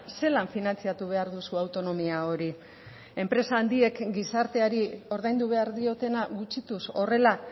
zelan finantzatu behar duzu autonomia hori enpresa handiek gizarteari ordaindu behar diotena gutxituz horrela